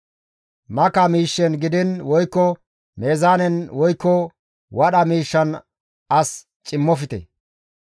« ‹Maka miishshen gidiin woykko meezaanen woykko wadha miishshan as cimmofte.